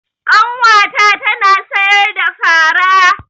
Ƙanwa ta tana sayar da fara.